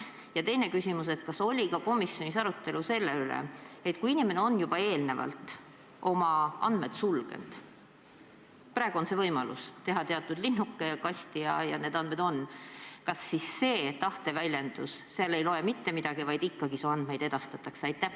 Ja teine küsimus: kas oli komisjonis arutelu selle üle, et kui inimene on eelnevalt oma andmed sulgenud – praegu on võimalus teha teatud kasti linnuke, ja need andmed on suletud –, siis kas see tahteväljendus sel juhul ei loe mitte midagi, vaid ikkagi su andmeid edastatakse?